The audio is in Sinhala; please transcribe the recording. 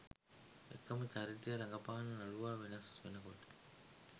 එකම චරිතය රඟපාන නළුවා වෙනස් වෙනකොට.